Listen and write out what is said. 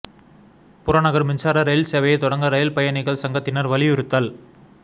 புறநகர் மின்சார ரயில் சேவையைத் தொடங்க ரயில் பயணிகள் சங்கத்தினர் வலியுறுத்தல்